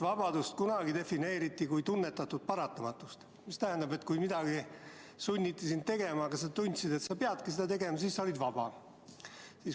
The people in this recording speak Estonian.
Kunagi defineeriti vabadust kui tunnetatud paratamatust, mis tähendab seda, et kui sind sunniti midagi tegema, aga sa tundsid, et sa peadki seda tegema, siis sa olid vaba.